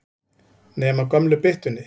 Nema gömlu byttunni.